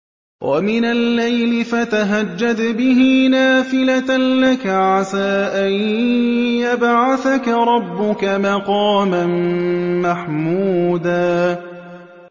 وَمِنَ اللَّيْلِ فَتَهَجَّدْ بِهِ نَافِلَةً لَّكَ عَسَىٰ أَن يَبْعَثَكَ رَبُّكَ مَقَامًا مَّحْمُودًا